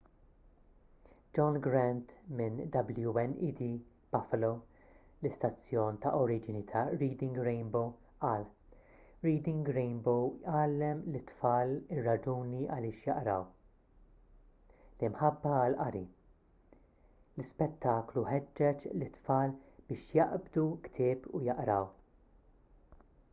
john grant minn wned buffalo l-istazzjon ta’ oriġini ta’ reading rainbow qal: reading rainbow għallem lit-tfal ir-raġuni għaliex jaqraw,...l-imħabba għall-qari — [l-ispettaklu] ħeġġeġ lit-tfal biex jaqbdu ktieb u jaqraw.